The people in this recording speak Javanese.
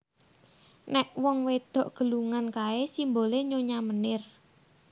Nek wong wedok gelungan kae simbole Nyonya Menir